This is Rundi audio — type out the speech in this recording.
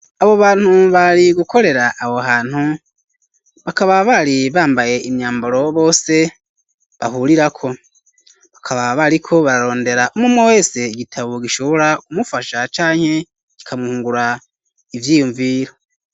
Abo bantu bari gukorera aho hantu bakaba bari bambaye imyambaro bose bahurirako bakaba bariko bararondera umwumwe wese igitabo gishobora ku mufasha canke kika mwungura ivyiyumviro.